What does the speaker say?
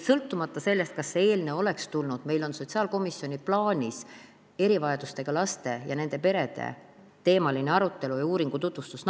Sõltumata sellest, kas see eelnõu oleks tulnud või mitte, on meil sotsiaalkomisjonis nagunii plaanis arutelu erivajadustega laste ja nende perede teemal ning uuringu tutvustus.